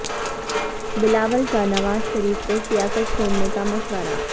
بلاول کا نواز شریف کو سیاست چھوڑنے کا مشورہ